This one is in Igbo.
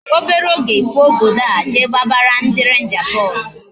Obere oge I pụọ obodo a je gbabara ndị Rangers bọọlụ